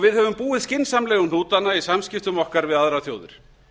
við höfum búið skynsamlega um hnútana í samskiptum okkar við aðrar þjóðir